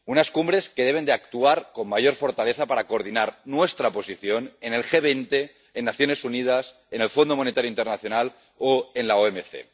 Unas cumbres que deben actuar con mayor fortaleza para coordinar nuestra posición en el G 20, en las Naciones Unidas, en el Fondo Monetario Internacional o en la OMC.